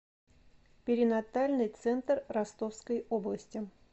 перинатальный центр ростовской области